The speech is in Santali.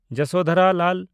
ᱡᱚᱥᱳᱫᱷᱚᱨᱟ ᱞᱟᱞ